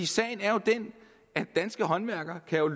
sagen er jo den at danske håndværkere